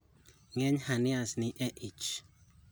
ng'eny hernias nie e ich